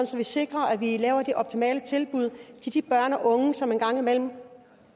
så vi sikrer at vi laver de optimale tilbud til de børn og unge som engang imellem